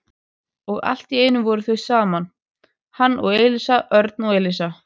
Og allt í einu voru þau saman, hann og Elísa, Örn og Elísa.